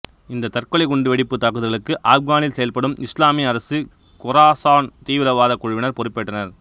இந்த தற்கொலை குண்டு வெடிப்பு தாக்குதல்களுக்கு ஆப்கானில் செயல்படும் இசுலாமிய அரசு கொராசான் தீவிரவாதக் குழுவினர் பொறுப்பேற்றனர்